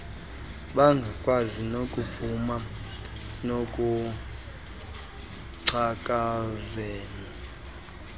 bangakwazi nokuphuma ekungcakazeni